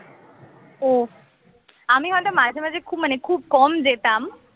ও আমি হয়ত মাঝে মাঝে খুব মানে খুব কম যেতাম